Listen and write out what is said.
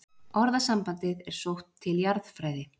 Orðasambandið er sótt til jarðfræði.